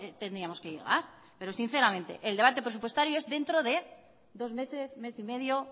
tendríamos que llegar pero sinceramente el debate presupuestario es dentro de dos meses mes y medio